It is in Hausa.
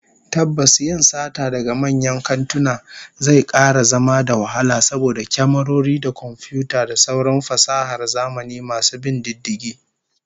Tabbas yin sata daga manyan kantuna zai kara zama da wahala saboda kyamarori da komfiyuta da sauran fasahar zamani masu bin diddigi